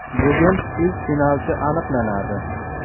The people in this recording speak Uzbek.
Bugun ilk finalchi aniqlanadi.